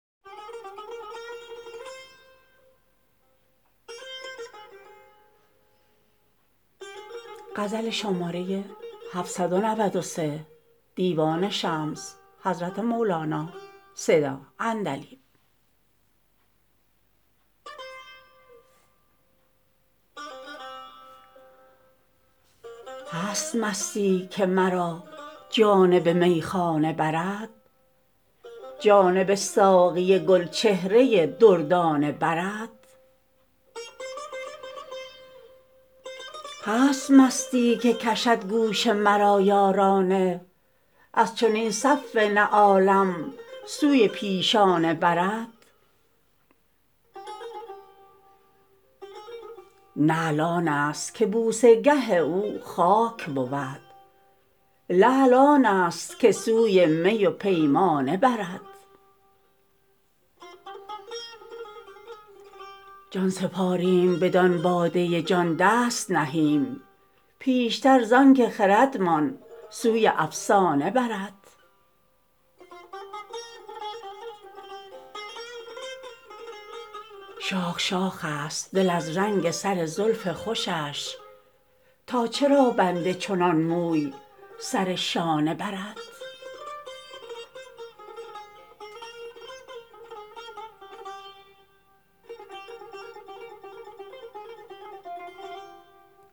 هست مستی که مرا جانب میخانه برد جانب ساقی گلچهره دردانه برد هست مستی که کشد گوش مرا یارانه از چنین صف نعالم سوی پیشانه برد نعل آنست که بوسه گه او خاک بود لعل آنست که سوی می و پیمانه برد جان سپاریم بدان باده جان دست نهیم پیشتر زانک خردمان سوی افسانه برد شاخ شاخست دل از رنگ سر زلف خوشش تا چرا بند چنان موسی سر شانه برد